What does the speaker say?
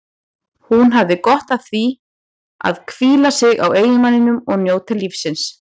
Hún hefði gott af að hvíla sig á eiginmanninum og njóta lífsins.